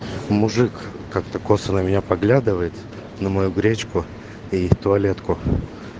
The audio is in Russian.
мужик как-то косо на меня поглядывает на мою гречку и туалетку